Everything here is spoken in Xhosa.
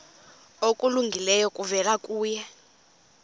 okulungileyo kuvela kuye